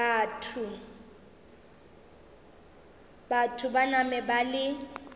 batho ba nama ba le